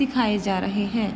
सिखाए जा रहे हैं।